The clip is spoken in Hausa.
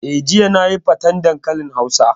Eh, jiya nayi faten dankalin hausa